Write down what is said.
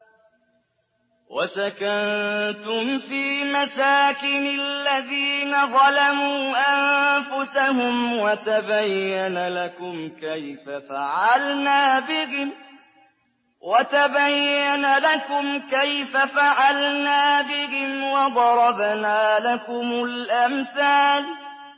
وَسَكَنتُمْ فِي مَسَاكِنِ الَّذِينَ ظَلَمُوا أَنفُسَهُمْ وَتَبَيَّنَ لَكُمْ كَيْفَ فَعَلْنَا بِهِمْ وَضَرَبْنَا لَكُمُ الْأَمْثَالَ